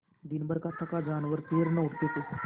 दिनभर का थका जानवर पैर न उठते थे